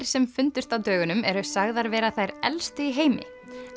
sem fundust á dögunum eru sagðar vera þær elstu í heimi